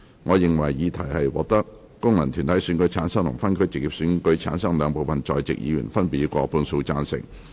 我認為議題獲得經由功能團體選舉產生及分區直接選舉產生的兩部分在席議員，分別以過半數贊成。